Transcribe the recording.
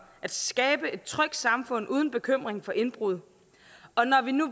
at skabe et trygt samfund uden bekymring for indbrud og når vi nu